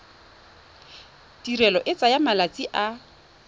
tirelo e tsaya malatsi a